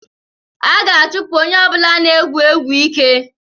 A ga-achụpụ onye ọ bụla nke na-egwu egwu ike